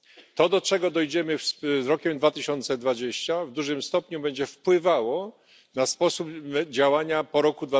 To, do czego dojdziemy z rokiem 2020, w dużym stopniu będzie wpływało na sposób działania po roku